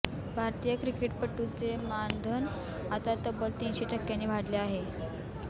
भारतीय क्रिकेटपटूंचे मानधन आता तब्बल तीनशे टक्क्यांनी वाढले आहे